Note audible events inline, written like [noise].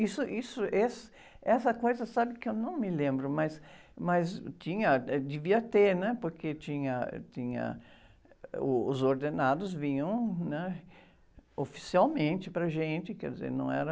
Isso, isso, [unintelligible] essa coisa sabe que eu não me lembro, mas, mas, tinha, eh, devia ter, porque tinha, tinha, ãh, uh, os ordenados vinham, né? Oficialmente para a gente, quer dizer, não era